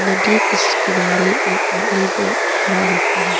नदी के किस किनारे एक आदमी खड़ा हो के है।